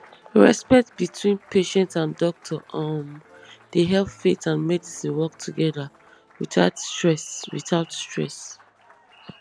respect between patient and doctor um dey help faith and medicine work together without stress without stress